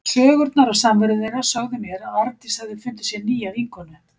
Sögurnar af samveru þeirra sögðu mér að Arndís hafði fundið sér nýja vinkonu.